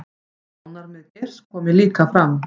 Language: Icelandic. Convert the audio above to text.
Sjónarmið Geirs komi líka fram